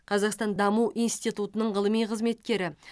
қазақстан даму институтының ғылыми қызметкері